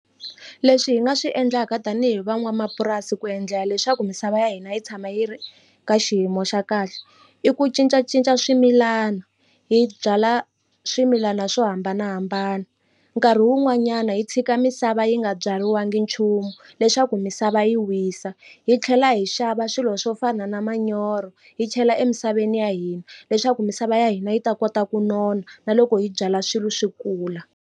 Leswi hi nga swi endlaka tanihi van'wamapurasi ku endlela leswaku misava ya hina yi tshama yi ri ka xiyimo xa kahle i ku cincacinca swimilana hi byala swimilana swo hambanahambana nkarhi wun'wanyana hi tshika misava yi nga byeriwangi nchumu leswaku misava yi wisa hi tlhela hi xava swilo swo fana na manyoro hi chela emisaveni ya hina leswaku misava ya hina yi ta kota ku nona na loko hi byala swilo swi kula.